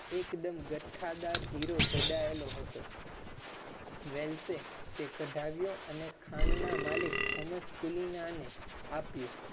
એકદમ ગઠ્ઠા દાર હીરો ઝાડાયેલો હતો તે કાઢયો અને wealth એ ખાન ના માલિક thomas ના ને આપ્યો